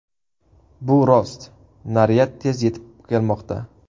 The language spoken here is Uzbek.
Bu rost, naryad tez yetib kelmoqda.